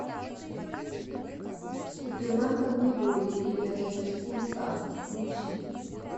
супермен поневоле или эротический мутант включи